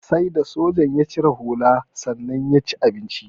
Sai da sojan ya cire hula sannan ya ci abincin.